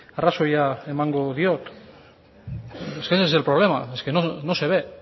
arrazoia emango diot es que ese es el problema es que no se ve